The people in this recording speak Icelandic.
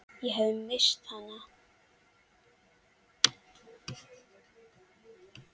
Ég hafði misst hana.